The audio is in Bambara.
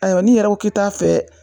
Ayiwa n'i yɛrɛ ko ki t'a fɛ